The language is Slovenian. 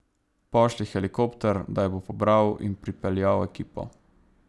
Pošlji helikopter, da jo bo pobral in pripeljal ekipo.